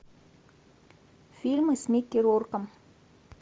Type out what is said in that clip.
фильмы с микки рурком